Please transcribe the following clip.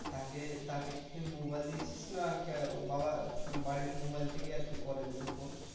তাকে তাকে কি তুই mobile দিয়েছিস না ওর বাবা মানে বাড়ির mobile থেকেই আর কি করে তোকে phone?